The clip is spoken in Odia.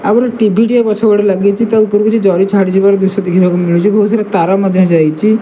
ଆଉ ଗୋଟେ ଟି_ଭି ଟିଏ ପଛପଟେ ଲାଗିଚି ତା ଉପରୁ କିଛି ଜରି ଛାଡିଯିବାର ଦୃଶ୍ୟ ଦେଖିବାକୁ ମିଳୁଚି ବୋହୁତ୍ ସାରା ତାର ମଧ୍ୟ ଯାଇଚି।